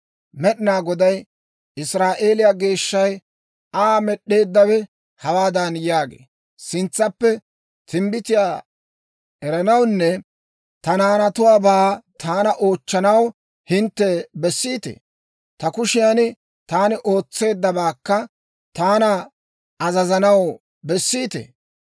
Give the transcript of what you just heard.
Med'inaa Goday, Israa'eeliyaa Geeshshay, Aa Med'd'eeddawe, hawaadan yaagee; ‹Sintsappe timbbitiyaa eranawunne ta naanatuwaabaa taana oochchanaw hintte bessiitee? Ta kushiyan taani ootsanabaakka taana azazanaw bessiitee?